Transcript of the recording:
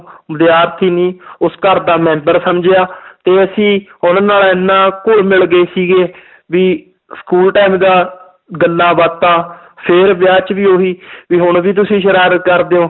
ਵਿਦਿਆਰਥੀ ਨੀ ਉਸ ਘਰ ਦਾ ਮੈਂਬਰ ਸਮਝਿਆ ਤੇ ਅਸੀਂ ਉਹਨਾਂ ਨਾਲ ਇੰਨਾ ਘੁੱਲ ਮਿਲ ਗਏ ਸੀਗੇ ਵੀ school time ਦਾ ਗੱਲਾਂ ਬਾਤਾਂ ਫਿਰ ਵਿਆਹ 'ਚ ਵੀ ਉਹੀ ਵੀ ਹੁਣ ਵੀ ਤੁਸੀਂ ਸਰਾਰਤ ਕਰਦੇ ਹੋ